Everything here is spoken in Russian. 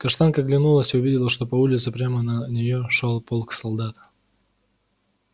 каштанка оглянулась и увидела что по улице прямо на нее шёл полк солдат